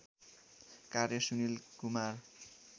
कार्य सुनिल कुमार